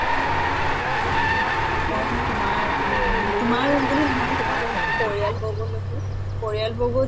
হয় হয়। ময়ো তোমাৰ উম তোমাৰ বুলি নহয় তোমাৰ পৰিয়াল বৰ্গলৈকো পৰিয়াল বৰ্গও